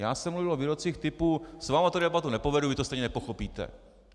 Já jsem mluvil o výrocích typu s vámi tu debatu nepovedu, vy to stejně nepochopíte.